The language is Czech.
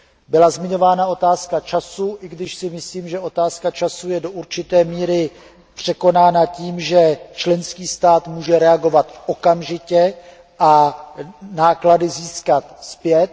Byla zmiňována otázka času, i když si myslím, že otázka času je do určité míry překonána tím, že členský stát může reagovat okamžitě a náklady získat zpět.